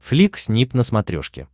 флик снип на смотрешке